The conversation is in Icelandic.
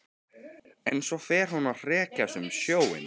En svo fer hún að hrekjast um sjóinn.